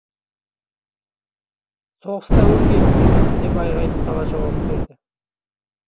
соғыста өлген деп айғайды сала жауап берді